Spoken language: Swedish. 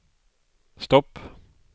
stopp